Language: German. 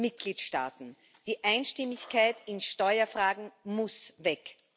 An den Mitgliedstaaten. Die Einstimmigkeit in Steuerfragen muss weg!